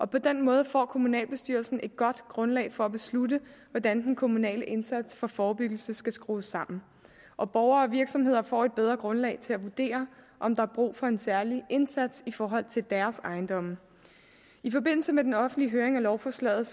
på den måde får kommunalbestyrelsen et godt grundlag for at beslutte hvordan den kommunale indsats for forebyggelse skal skrues sammen og borgere og virksomheder får et bedre grundlag til at vurdere om der er brug for en særlig indsats i forhold til deres ejendomme i forbindelse med den offentlige høring af lovforslaget